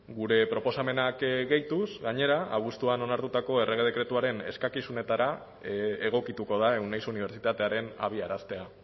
gure proposamenak gehituz gainera abuztuan onartutako errege dekretuaren eskakizunetara egokituko da euneiz unibertsitatearen abiaraztea